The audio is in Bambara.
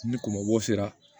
Ni kɔmɔbɔ sera